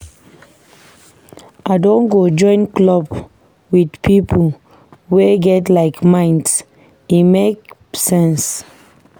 I don go join club with pipo wey get like-minds, e make sense.